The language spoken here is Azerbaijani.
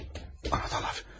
A, anahtarlar.